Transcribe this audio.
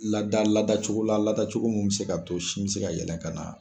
Lada ladacogo la ladacogo min bɛ se ka to sin bɛ se ka yɛlɛ ka na.